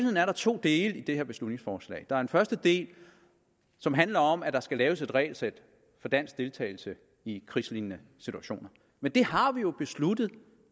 er der to dele i det her beslutningsforslag der er en første del som handler om at der skal laves et regelsæt for dansk deltagelse i krigslignende situationer men det har vi jo besluttet